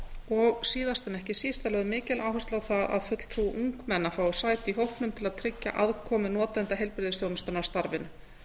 og síðast en ekki síst er lögð mikil áhersla á það að fulltrúi ungmenna fái sæti í hópnum til að tryggja aðkomu notenda heilbrigðisþjónustunnar að starfinu